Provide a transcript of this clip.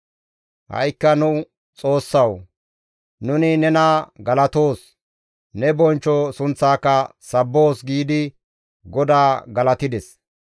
Ha7ikka nu Xoossawu! Nuni nena galatoos; ne bonchcho sunththaaka sabboos» giidi GODAA galatides;